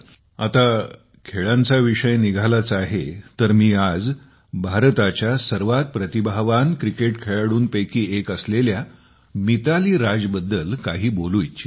आता खेळांचा विषय निघालाच आहे तर मी आज भारताच्या सर्वात प्रतिभावान क्रिकेट खेळाडूंपैकी एक असेलल्या मिताली राज बद्दल काही बोलू इच्छितो